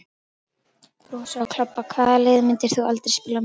Brosa og klobba Hvaða liði myndir þú aldrei spila með?